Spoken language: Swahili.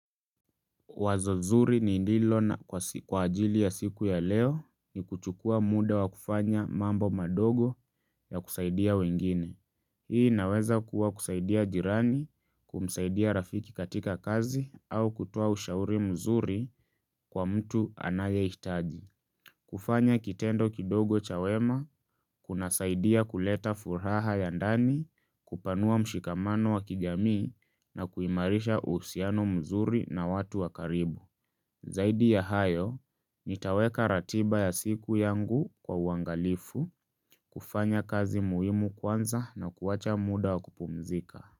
Wazo zuri ni lilo na kwa ajili ya siku ya leo ni kuchukua muda wa kufanya mambo madogo ya kusaidia wengine. Hii inaweza kuwa kusaidia jirani, kumsaidia rafiki katika kazi au kutoa ushauri mzuri kwa mtu anayehitaji. Kufanya kitendo kidogo cha wema, kunasaidia kuleta furaha ya ndani, kupanua mshikamano wa kijamii na kuimarisha uhusiano mzuri na watu wa karibu. Zaidi ya hayo, nitaweka ratiba ya siku yangu kwa uangalifu, kufanya kazi muhimu kwanza na kuacha muda wa kupumzika.